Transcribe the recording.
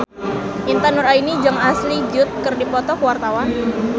Intan Nuraini jeung Ashley Judd keur dipoto ku wartawan